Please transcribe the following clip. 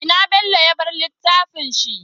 Ina bello ya bar littafin shi?